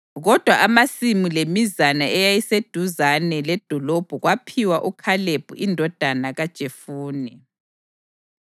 Kodwa amasimu lemizana eyayiseduzane ledolobho kwaphiwa uKhalebi indodana kaJefune.